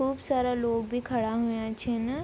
खूब सारा लोग भी खड़ा हुयां छिन ।